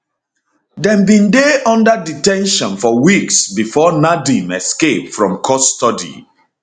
dem bin dey under de ten tion for weeks before nadeem escape from custody